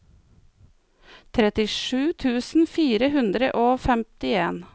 trettisju tusen fire hundre og femtien